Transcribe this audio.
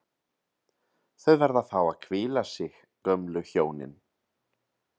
Þau verða að fá að hvíla sig, gömlu hjónin